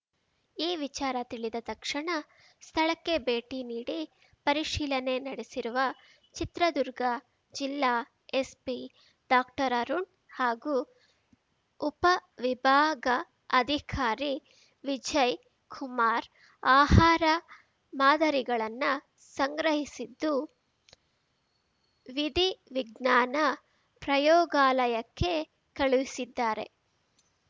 ಈ ವಿಚಾರ ತಿಳಿದ ತಕ್ಷಣ ಸ್ಥಳಕ್ಕೆ ಭೇಟಿ ನೀಡಿ ಪರಿಶೀಲನೆ ನಡೆಸಿರುವ ಚಿತ್ರದುರ್ಗ ಜಿಲ್ಲಾ ಎಸ್ಪಿ ಡಾಕ್ಟರ್ಅರುಣ್‌ ಹಾಗೂ ಉಪವಿಭಾಗ ಅಧಿಕಾರಿ ವಿಜಯ್‌ ಕುಮಾರ್‌ ಆಹಾರ ಮಾದರಿಗಳನ್ನ ಸಂಗ್ರಹಿಸಿದ್ದು ವಿಧಿವಿಜ್ಞಾನ ಪ್ರಯೋಗಾಲಯಕ್ಕೆ ಕಳುಹಿಸಿದ್ದಾರೆ